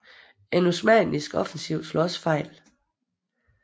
En osmannisk offensiv slog også fejl